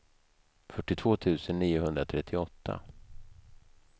fyrtiotvå tusen niohundratrettioåtta